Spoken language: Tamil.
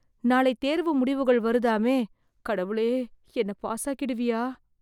நாளை தேர்வு முடிவுகள் வருதாமே... கடவுளே என்னை பாஸாக்கிடுவியா...